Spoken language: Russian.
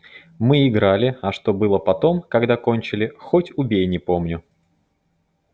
мы играли а что было потом когда кончили хоть убей не помню